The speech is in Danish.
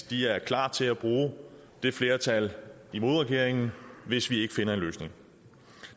de er klar til at bruge det flertal imod regeringen hvis vi ikke finder en løsning